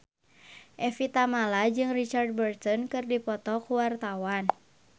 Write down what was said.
Evie Tamala jeung Richard Burton keur dipoto ku wartawan